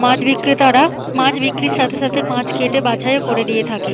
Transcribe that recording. মাছ বিক্রেতারা মাছ বিক্রির সাথে সাথে মাছ কেটে বাছাইও করে দিয়ে থাকে।